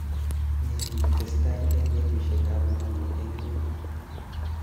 Nee netesetai eng netushekab nguni eng ng'ony?